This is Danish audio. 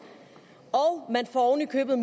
og oven i købet